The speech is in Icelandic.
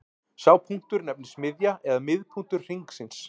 Sá punktur nefnist miðja eða miðpunktur hringsins.